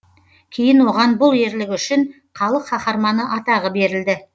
кейін оған бұл ерлігі үшін халық қаһарманы атағы берілді